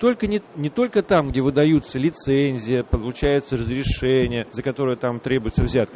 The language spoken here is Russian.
только не не только там где выдаются лицензии получается разрешение за которое там требуется взятка